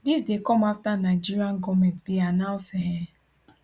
dis dey come afta nigerian goment bin announce um